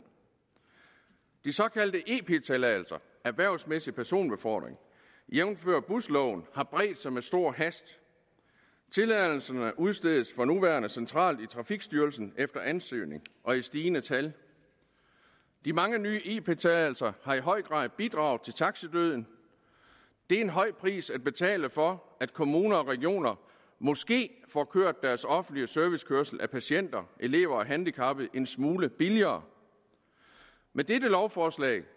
de såkaldte ep tilladelser erhvervsmæssig personbefordring jævnfør busloven har bredt sig med stor hast tilladelserne udstedes for nuværende centralt i trafikstyrelsen efter ansøgning og i stigende tal de mange nye ep tilladelser har i høj grad bidraget til taxidøden det er en høj pris at betale for at kommuner og regioner måske får kørt deres offentlige servicekørsel af patienter elever og handicappede en smule billigere med dette lovforslag